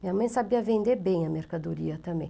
Minha mãe sabia vender bem a mercadoria também.